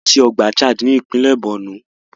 A lọ sí ọgbà Chad Basin ní ìpínlẹ̀ Borno.